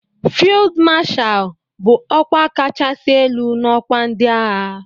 "Field Marshal" bụ ọkwa kachasị elu n'ọkwa ndị agha.